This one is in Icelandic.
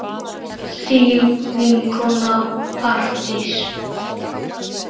Þín vinkona Arndís.